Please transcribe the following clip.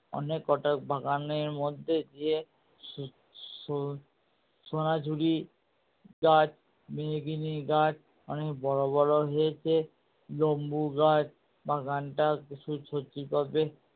অনেক কটা বাগানের মধ্যে গিয়ে সোনাঝুরি গাছ মেহগিনি গাছ অনেক বড়ো বড়ো হয়েছে লম্বু গাছ বাগানটা